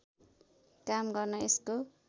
काम गर्न यसको